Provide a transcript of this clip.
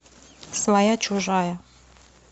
своя чужая